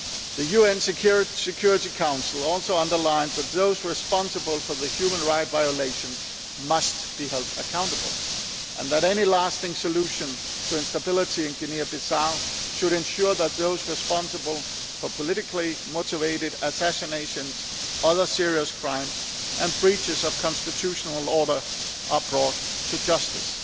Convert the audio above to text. The UN Security Council also underlined that those responsible for the human rights violations must be held accountable, and that any lasting solution to instability in Guinea Bissau should ensure that those responsible for politically motivated assassinations, other serious crimes and breaches of constitutional order are brought to justice.